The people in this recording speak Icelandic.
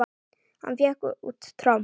Hann fékk út tromp.